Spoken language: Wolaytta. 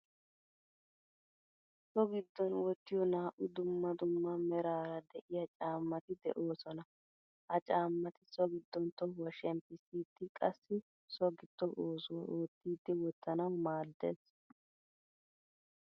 So giddon wottiyo naa'u dumma dumma merara de'iyaa caamati deosona. Ha caamati so giddon tohuwaa shemppisidi qassi so giddo oosuwaa oottidi wottanawu maadees.